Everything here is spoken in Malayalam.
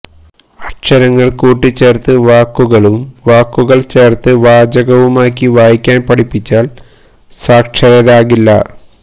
അക്ഷരങ്ങള് കൂട്ടിച്ചേര്ത്ത് വാക്കുകളും വാക്കുകള് ചേര്ത്ത് വാചകവുമാക്കി വായിക്കാന് പഠിച്ചാല് സാക്ഷരരാകില്ല